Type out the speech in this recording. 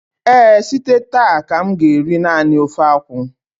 ee, site taa ka m ga-eri nani ofe akwụ